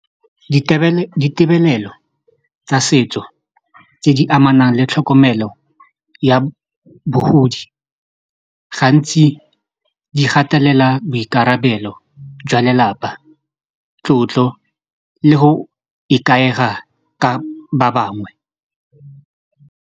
Ditebelelo tsa setso tse di amanang le tlhokomelo ya bogodi gantsi di gatelela boikarabelo jwa lelapa, tlotlo le go ikaega ka ba bangwe.